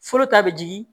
Fɔlɔ ta bɛ jigin